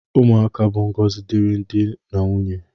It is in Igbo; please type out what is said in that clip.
Ụmụaka bụ ngọzi diri di na nwunye